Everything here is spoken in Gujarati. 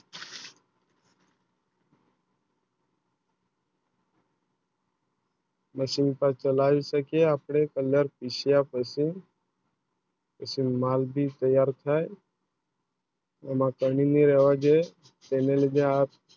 Machine પર ચાલ્યું શકે અપને Colour પીસવા માટે